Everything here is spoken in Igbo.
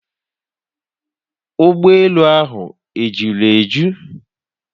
Ụgbọelu ahụ ejuru eju?